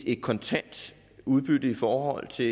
et kontant udbytte i forhold til